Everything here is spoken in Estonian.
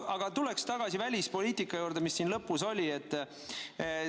Aga tulen tagasi välispoliitika juurde, millest siin lõpus juttu oli.